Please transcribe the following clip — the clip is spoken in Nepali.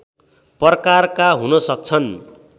प्रकारका हुन सक्छन्